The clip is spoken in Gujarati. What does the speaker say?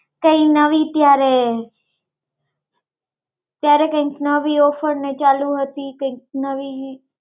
કઈ નવી ત્યારે, ત્યારે કૈક નવી offer ચાલુ હતી કૈક નવી